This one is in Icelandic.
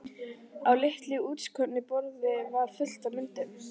Á litlu útskornu borði var fullt af myndum.